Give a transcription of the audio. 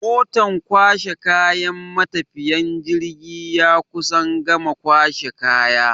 Motan kwashe kayan matafiyan jirgi ya kusan gama kwashe kaya.